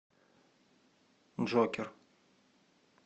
джокер